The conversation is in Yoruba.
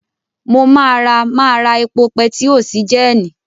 Mo máa ra máa ra epo pẹtió sí gẹ́ẹ́nì.